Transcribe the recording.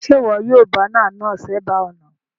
Sé wo yio banner náà sébàá ònà